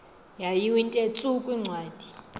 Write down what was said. yayiwnthe tsu kwincwadi